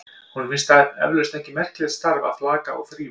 Honum finnst það eflaust ekki merkilegt starf að flaka og þrífa.